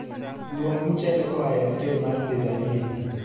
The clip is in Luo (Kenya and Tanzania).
Luong mchele kowuok eotel mar pizza in